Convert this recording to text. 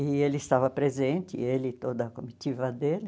E ele estava presente, ele e toda a comitiva dele.